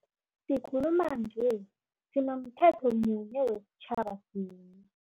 Sikhuluma nje sinomthetho munye wesitjhaba sinye.